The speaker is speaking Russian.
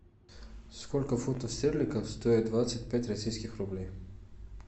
сколько фунтов стерлингов стоит двадцать пять российских рублей